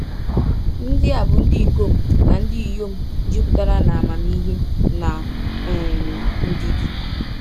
Ndị a bụ ndị ikom na ndị inyom “jupụtara n’amamihe na um ndidi.”